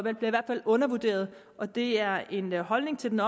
i hvert fald undervurderet og det er en holdning til den